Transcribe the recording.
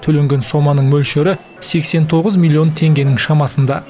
төленген соманың мөлшері сексен тоғыз миллион теңгенің шамасында